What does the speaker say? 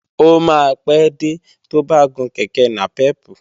Ó máa pé dé tó bá gun kèké nàpẹ́pù